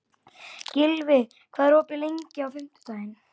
Gylfi, hvað er opið lengi á fimmtudaginn?